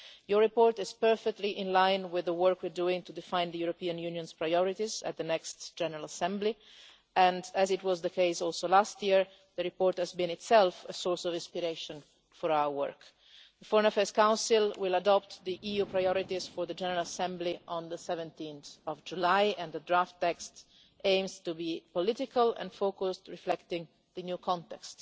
Your report is perfectly in line with the work we are doing to define the European Union's priorities at the next General Assembly and, as it was the case also last year, the report has been itself a source of this inspiration for our work. The Foreign Affairs Council will adopt the EU priorities for the General Assembly on 17 July, and the draft text aims to be political and focused, reflecting the new context.